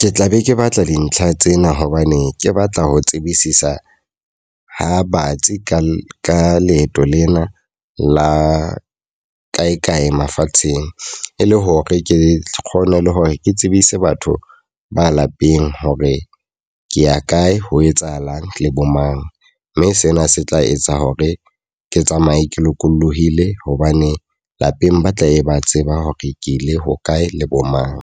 Ke tla be ke batla dintlha tsena hobane ke batla ho tsebisisa ha batsi ka leeto lena la kae kae mafatsheng. E le hore ke kgone le hore ke tsebise batho ba lapeng hore ke ya kae ho etsahalang le bo mang. Mme sena se tla etsa hore ke tsamaye ke lokolohile hobane lapeng ba tlabe ba tseba hore ke le hokae, le bo mang.